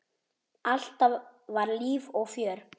Alltaf var líf og fjör.